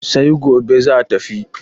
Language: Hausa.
sai gobe za tafi